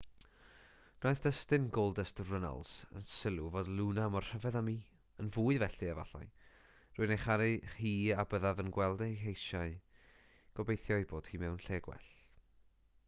gwnaeth dustin goldust runnels y sylw fod luna mor rhyfedd â miyn fwy felly efallairwy'n ei charu hi a byddaf yn gweld ei heisiaugobeithio ei bod hi mewn lle gwell